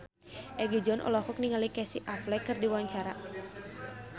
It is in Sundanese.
Egi John olohok ningali Casey Affleck keur diwawancara